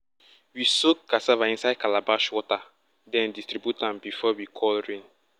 we soak cassava inside calabash water then distribute am before we call rain.